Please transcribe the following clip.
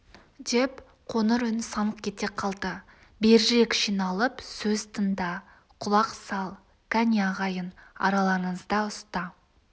деп қоңыр үн саңқ ете қалды берірек жиналып сөз тыңда құлақ сал кәне ағайын араларыңызда ұста